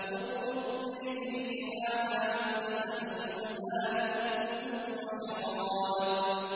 ارْكُضْ بِرِجْلِكَ ۖ هَٰذَا مُغْتَسَلٌ بَارِدٌ وَشَرَابٌ